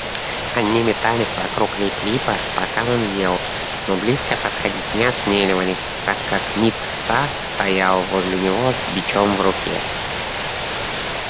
они метались вокруг лип липа пока он ел но близко подходить не осмеливались так как мит са стоял возле него с бичом в руке